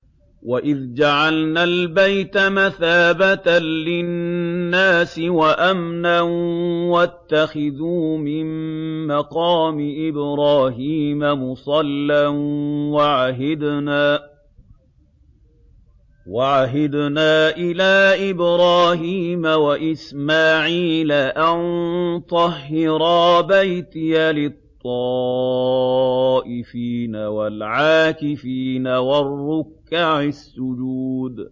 وَإِذْ جَعَلْنَا الْبَيْتَ مَثَابَةً لِّلنَّاسِ وَأَمْنًا وَاتَّخِذُوا مِن مَّقَامِ إِبْرَاهِيمَ مُصَلًّى ۖ وَعَهِدْنَا إِلَىٰ إِبْرَاهِيمَ وَإِسْمَاعِيلَ أَن طَهِّرَا بَيْتِيَ لِلطَّائِفِينَ وَالْعَاكِفِينَ وَالرُّكَّعِ السُّجُودِ